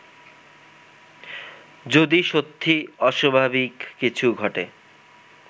যদি সত্যি অস্বাভাবিক কিছু ঘটে